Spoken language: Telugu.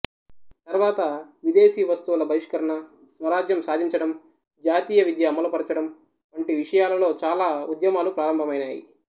తర్వాత విదేశీ వస్తువుల బహిష్కరణ స్వరాజ్యం సాధించటం జాతీయ విద్య అమలుపరచడం వంటి విషయాలలో చాలా ఉద్యమాలు ప్రారంభమైనాయి